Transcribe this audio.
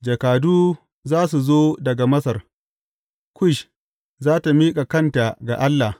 Jakadu za su zo daga Masar; Kush za tă miƙa kanta ga Allah.